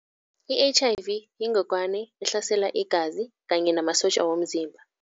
I-H_I_V yingogwawani ehlasela igazi kanye namasotja womzimba.